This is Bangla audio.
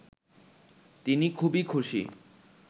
তিনি খুবই খুশি